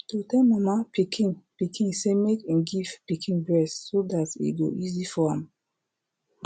to tell mama pikin pikin say make im give pikin breast so that e go easy for am